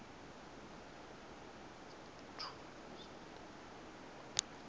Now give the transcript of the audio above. ku nga ha va ku